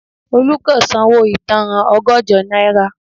Olu kò san owó ìtanràn ọgọ́jọ náírà